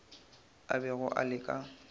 a bego a le ka